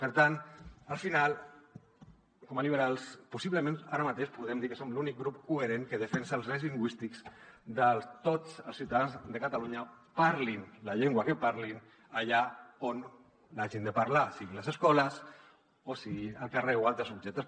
per tant al final com a liberals possiblement ara mateix podem dir que som l’únic grup coherent que defensa els drets lingüístics de tots els ciutadans de catalunya parlin la llengua que parlin allà on l’hagin de parlar siguin les escoles o sigui el carrer o altres objectes